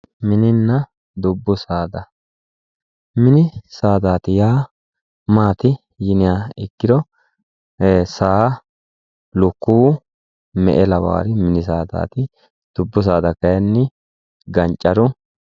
Mininna dubbu saada ,mini saadati yaa maati yinniha ikkiro saa, lukkuwu, me'e lawari mini saadati. dubbu saadati kayinni Gancaru